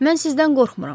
Mən sizdən qorxmuram.